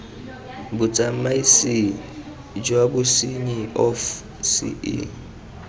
bosiamisi jwa bosenyi of ce